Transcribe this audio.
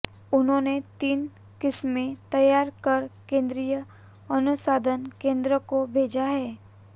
उन्होंने तीन किस्में तैयार कर केंद्रीय अनुसंधान केंद्र को भेजाहै